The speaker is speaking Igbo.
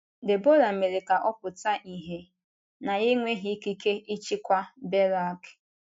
Debọra mere ka ọ pụta ìhè na ya enweghị ikike ịchịkwa Berak.